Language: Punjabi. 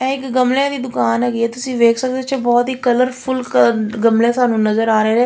ਇਹ ਇੱਕ ਗੁਮਲਿਆਂ ਦੀ ਦੁਕਾਨ ਹੈਗੀ ਆ ਤੁਸੀਂ ਵੇਖ ਸਕਦੇ ਹੋ ਇਹਦੇ ਵਿੱਚ ਬਹੁਤ ਹੀ ਕਲਰ ਫੁੱਲ ਗੁਮਲੇ ਸਾਨੂੰ ਨਜ਼ਰ ਆ ਰਹੇ ਨੇ।